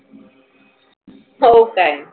हो काय?